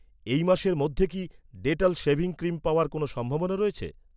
এই মাসের মধ্যে কি, ডেটল শেভিং ক্রিম পাওয়ার কোনও সম্ভাবনা আছে?